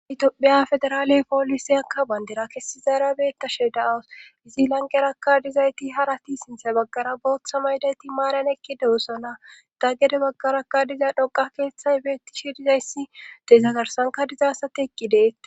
Tophiya federaale poolise akka bandira kessi zaarabetashe da7awus izi lanqeraka dizayti harati sinthay baggara booththa maydayti maaran ekki dewusa na daaggede baggaraka diza dhoqa keeththay beetti shidizayssi dezagarsankadizasate eqqi deet.